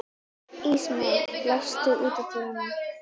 Ísmey, læstu útidyrunum.